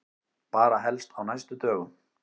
Bara helst á næstu dögum.